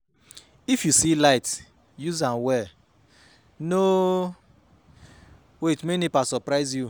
If you see light use am well no wait make NEPA surprise you